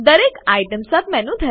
દરેક આઇટમ સબમેનું